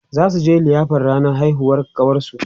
zasuje liyafar ranar haihuwar ƙawarsu